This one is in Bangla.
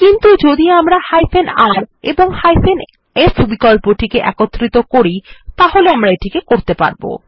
কিন্তু যদি আমরা r এবং f বিকল্পটি একত্রিত করি তাহলে আমরা এটি করতে পারব